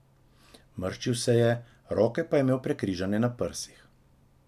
Mrščil se je, roke pa je imel prekrižane na prsih.